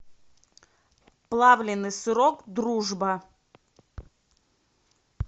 плавленный сырок дружба